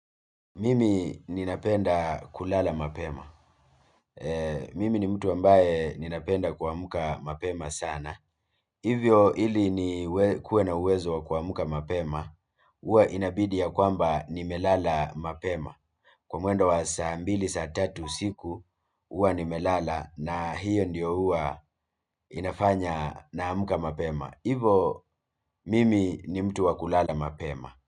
Mimi ninapenda kulala mapema mimi ni mtu ambaye ninapenda kuamka mapema sana hivyo ili nikuwe na uwezo wa kuamka mapema. Huwa inabidi ya kwamba nimelala mapema kwa mwendo wa saa mbili, saa tatu usiku, huwa nimelala na hiyo ndiyo huwa inafanya naamka mapema. Hivyo mimi ni mtu wa kulala mapema.